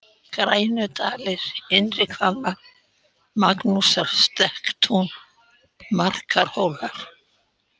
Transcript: Grænudalir, Innrihvammar, Magnúsarstekkatún, Markarhólar